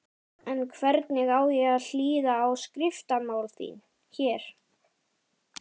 En hvernig á ég að hlýða á skriftamál þín. hér!